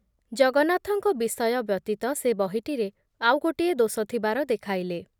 ଜଗନ୍ନାଥଙ୍କ ବିଷୟ ବ୍ୟତୀତ ସେ ବହିଟିରେ ଆଉ ଗୋଟିଏ ଦୋଷ ଥିବାର ଦେଖାଇଲେ ।